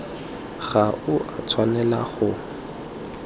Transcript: ga o a tshwanela go